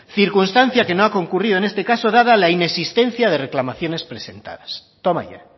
circunstancia que no ha concurrido en este caso dada la inexistencia de reclamaciones presentadas toma ya